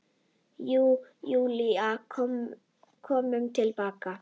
Og Júlía kom til baka.